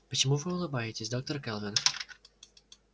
почему вы улыбаетесь доктор кэлвин